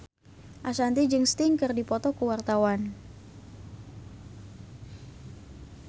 Ashanti jeung Sting keur dipoto ku wartawan